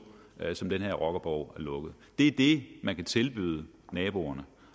uger som den her rockerborg er lukket det er det man kan tilbyde naboerne